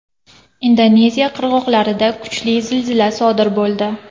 Indoneziya qirg‘oqlarida kuchli zilzila sodir bo‘ldi.